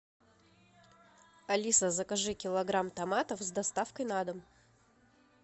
алиса закажи килограмм томатов с доставкой на дом